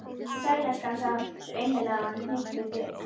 Sæll, elskan sagði hún, svo innilega að honum hnykkti við.